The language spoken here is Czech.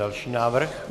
Další návrh.